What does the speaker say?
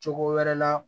Cogo wɛrɛ la